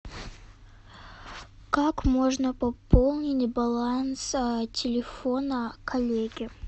как можно пополнить баланс телефона коллеги